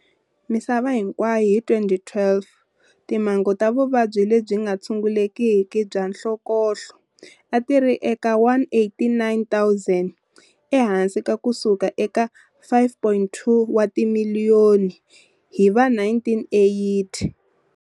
Misava hinkwayo hi 2012, timhangu ta vuvabyi lebyi nga tshungulekiki bya nhlokohlo a ti ri eka 189, 000 ehansi ka ku suka eka 5.2 wa timiliyoni hi va1980.